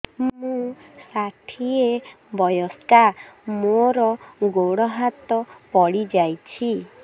ମୁଁ ଷାଠିଏ ବୟସ୍କା ମୋର ଗୋଡ ହାତ ପଡିଯାଇଛି